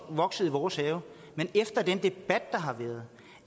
vokset i vores have men efter den debat der har været og